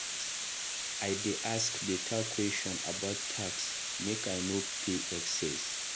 I dey ask beta question about tax make I no pay excess.